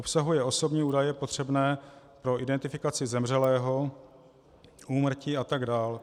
Obsahuje osobní údaje potřebné pro identifikaci zemřelého, úmrtí atd.